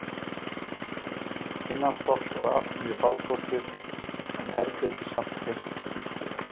Innanstokks var allt mjög fábrotið en herbergið samt hreint og snyrtilegt.